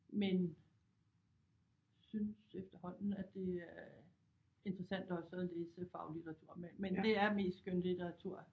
Men synes efterhånden at det er interessant også at læse faglitteratur men det er mest skønlitteratur